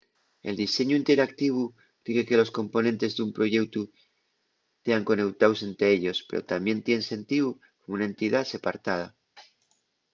el diseñu interactivu rique que los componentes d’un proyeutu tean coneutaos ente ellos pero tamién tien sentíu como una entidá separtada